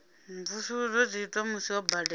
mvusuludzo dzi itwa musi ho badelwa